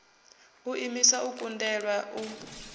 u imiswa u kundelwa u